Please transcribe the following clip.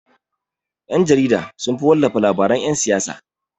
Ƴan-jarida sunfi wallafa labaran yan siyasa.